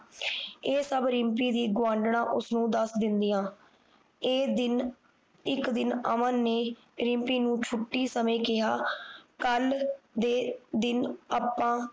ਇਹ ਸਭ ਰਿਮਪੀ ਦੀ ਗੋਆਂਢਣਾ ਉਸਨੂੰ ਦੱਸ ਦਿੰਦੀਆਂ ਇਹ ਦਿਨ ਇਕ ਦਿਨ ਅਮਨ ਨੇ ਰਿਮਪੀ ਨੂੰ ਛੁਟੀ ਸਮੇ ਕਿਹਾ ਕੱਲ ਦੇ ਦਿਨ ਅੱਪਾ